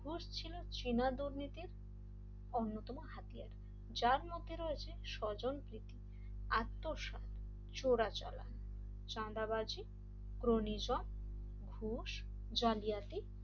দোষ ছিল চেনা দুর্নীতির অন্যতম হাতিয়ার যার মধ্যে রয়েছে সজল প্রীতি আত্মসাৎ চোরাচালান চাঁদাবাজি ক্রোমোজাম ঘুষ জালিয়াতি